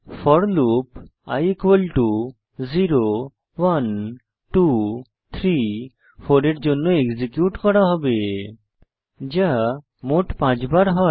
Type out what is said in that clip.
four loop i 0 1 2 3 4 এর জন্য execute করা হবে যা মোট 5 বার হয়